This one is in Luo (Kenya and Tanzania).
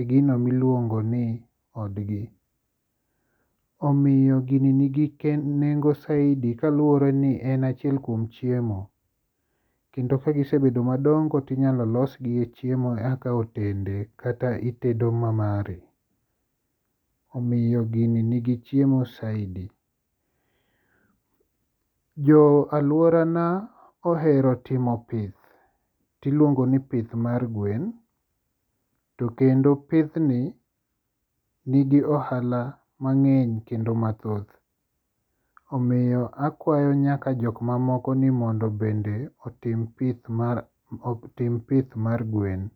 e gino miluongo ni odgi. Omiyo gini nigi nengo saidi kaluwore ni en achiel kuom chiemo kendo kagisebedo madongo tinyalo losgi e chiemo kaka otende kata itedo mamari omiyo gini nigi chiemo saidi. Jo alworana ohero timo pith, tiluongo ni pith mar gwen to kendo pithni nigi ohala mang'eny kendo mathoth, omiyo akwayo nyaka jokmamoko ni mondo bende otim pith mar gwen.